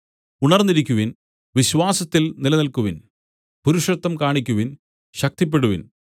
ഉണർന്നിരിക്കുവിൻ വിശ്വാസത്തിൽ നിലനിൽക്കുവിൻ പുരുഷത്വം കാണിക്കുവിൻ ശക്തിപ്പെടുവിൻ